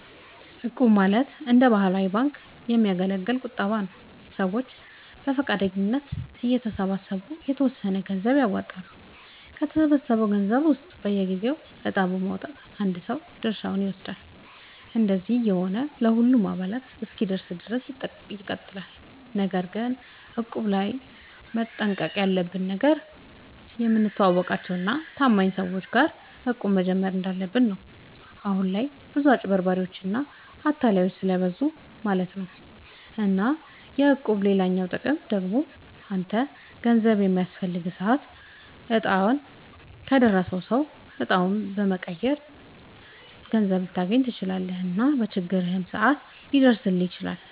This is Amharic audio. እቁብ ማለት እንደ ባህላዊ ባንክ የሚያገለግል ቁጠባ ነዉ። ሰዎች በፈቃደኝነት እየተሰባሰቡ የተወሰነ ገንዘብ ያዋጣሉ፣ ከተሰበሰበው ገንዘብ ውስጥ በየጊዜው እጣ በማዉጣት አንድ ሰው ድርሻውን ይወስዳል። እንደዚህ እየሆነ ለሁሉም አባላት እስኪደርስ ድረስ ይቀጥላል። ነገር ግን እቁብ ላይ መጠንቀቅ ያለብህ ነገር፣ የምታውቃቸው እና ታማኝ ሰዎች ጋር እቁብ መጀመር እንዳለብህ ነው። አሁን ላይ ብዙ አጭበርባሪዎች እና አታላዮች ስለብዙ ማለት ነው። እና የእቁብ ሌላኛው ጥቅም ደግሞ አንተ ገንዘብ በሚያስፈልግህ ሰዓት እጣው ከደረሰው ሰው እጣውን መቀየር ትችላለህ እና በችግርህም ሰዓት ሊደርስልህ ይችላል።